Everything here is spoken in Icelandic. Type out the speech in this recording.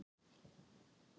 Hvað gerði hann?